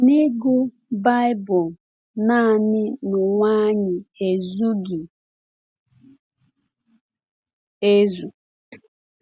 Na ịgụ Baịbụl naanị n’onwe anyị ezughị ezu.